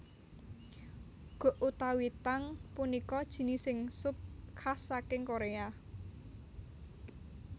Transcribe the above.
Guk utawi Tang punika jinising sup khas saking Korea